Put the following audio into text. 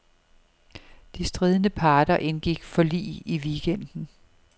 De stridende parter indgik forlig i weekenden.